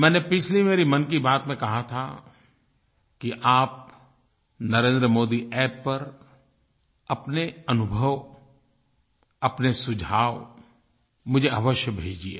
मैंने पिछली मेरी मन की बात में कहा था कि आप NarendraModiApp पर अपने अनुभव अपने सुझाव मुझे अवश्य भेजिए